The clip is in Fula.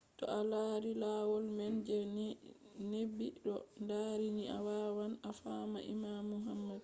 to a lari lohol man je neɓi ɗo dari ni a wawan a fama imanu muhammad